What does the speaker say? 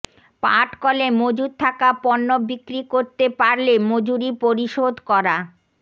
পাটকলে মজুদ থাকা পণ্য বিক্রি করতে পারলে মজুরি পরিশোধ করা